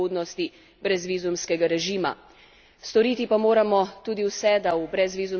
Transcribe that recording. Storiti pa moramo tudi vse, da v brezvizumski režim čim prej vstopi še Kosovo.